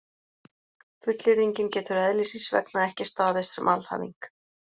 Fullyrðingin getur eðlis síns vegna ekki staðist sem alhæfing.